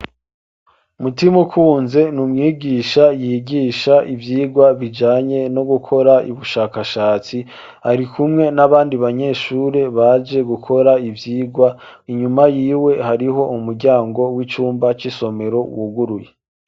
Mutimukunze numwigisha yigisha ivyigwa biijanye nugukora ubushakashatsi., .arikumwe nabandi banyeshure baje gukora ivyirwa., Inyuma yiwe hariho umuryango wicumba cisomero cuguruye